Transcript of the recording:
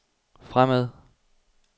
fremad